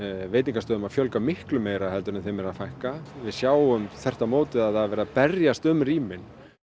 veitingastöðum að fjölga miklu meira en þeim er að fækka við sjáum þvert á móti að það er verið að berjast um rýmin